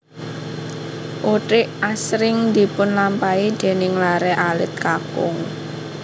Uthik asring dipunlampahi déning laré alit kakung